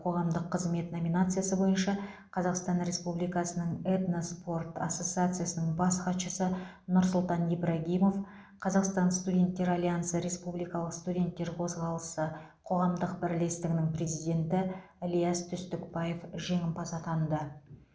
қоғамдық қызмет номинациясы бойынша қазақстан республикасының этноспорт ассоциациясының бас хатшысы нұрсұлтан ибрагимов қазақстан студенттер альянсы республикалық студенттер қозғалысы қоғамдық бірлестігі президенті ілияс түстікбаев жеңімпаз атанды